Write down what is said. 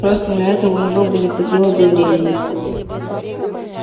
просто на это у него бы не хватило бы времени